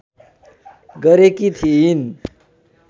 गरेकी थिइन्